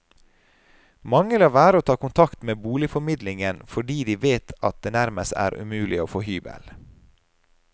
Mange lar være å ta kontakt med boligformidlingen fordi de vet at det nærmest er umulig å få hybel.